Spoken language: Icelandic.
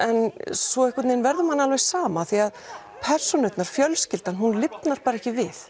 svo verður manni sama því persónurnar og fjölskyldan lifnar ekkert við